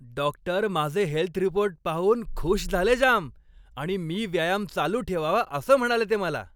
Doctor माझे health report पाहून खुश झाले जाम आणि मी व्यायाम चालू ठेवावा असं म्हणाले ते मला.